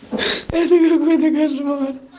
это какой-то кошмар